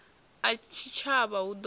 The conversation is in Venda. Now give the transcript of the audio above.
a tshitshavha hu ḓo ṱo